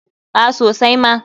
A sosai ma.